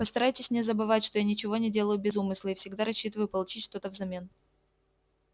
постарайтесь не забывать что я ничего не делаю без умысла и всегда рассчитываю получить что-то взамен